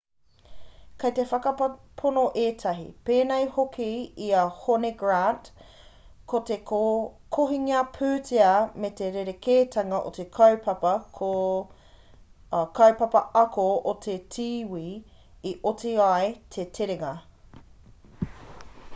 kei te whakapono ētahi pēnei hoki i a hone grant ko te kohinga pūtea me te rerekētanga o te kaupapa ako o te tīwī i oti ai te terenga